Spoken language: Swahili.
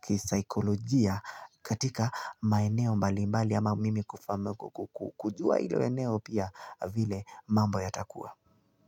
kisaikolojia katika maeneo mbali mbali ama mimi kujua hilo eneo pia vile mambo yatakua.